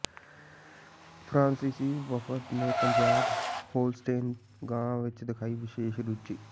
ਫਰਾਂਸੀਸੀ ਵਫ਼ਦ ਨੇ ਪੰਜਾਬ ਹੋਲਸਟੇਨ ਗਾਂ ਵਿੱਚ ਦਿਖਾਈ ਵਿਸ਼ੇਸ਼ ਰੁਚੀ